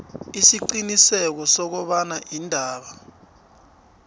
isiqiniseko sokobana iindaba